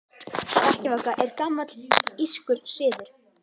Hrekkjavaka er gamall írskur siður.